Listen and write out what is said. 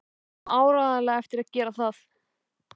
Við eigum áreiðanlega eftir að gera það.